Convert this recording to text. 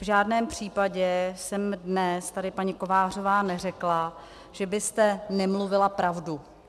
V žádném případě jsem dnes tady, paní Kovářová, neřekla, že byste nemluvila pravdu.